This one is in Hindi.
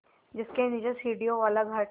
जिसके नीचे सीढ़ियों वाला घाट है